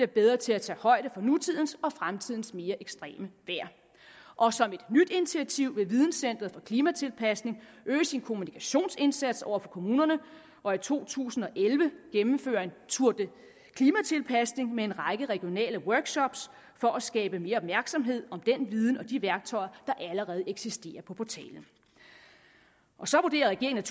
bedre til at tage højde for nutidens og fremtidens mere ekstreme vejr og som et nyt initiativ vil videncenter for klimatilpasning øge sin kommunikationsindsats over for kommunerne og i to tusind og elleve gennemføre en tour de klimatilpasning med en række regionale workshopper for at skabe mere opmærksomhed om den viden og de værktøjer der allerede eksisterer på portalen så vurderer regeringen